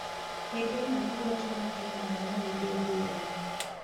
Hĩndĩ ĩno nĩguo twana tuonaga maũndũ ngũrani.